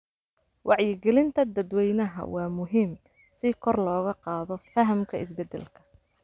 Wacyigelinta dadweynaha waa muhiim si kor loogu qaado fahamka isbedelka.